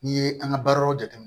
N'i ye an ka baaraw jateminɛ